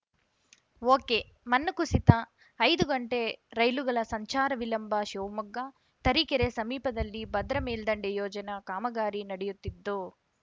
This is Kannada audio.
ಒಕೆಮಣ್ಣು ಕುಸಿತ ಐದು ಗಂಟೆ ರೈಲುಗಳ ಸಂಚಾರ ವಿಳಂಬ ಶಿವಮೊಗ್ಗ ತರೀಕೆರೆ ಸಮೀಪದಲ್ಲಿ ಭದ್ರ ಮೇಲ್ಡಂಡೆ ಯೋಜನೆ ಕಾಮಗಾರಿ ನಡಿಯುತ್ತಿದ್ದು